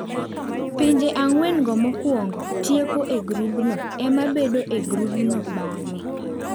Pinje ang'wen mokwong tieko e grubno ema bedo e grubno bang'e.